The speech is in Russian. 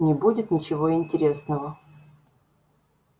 не будет ничего интересного